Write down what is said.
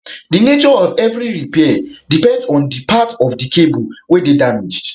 di nature of evri repair depends on di part of di of di cable wey dey damaged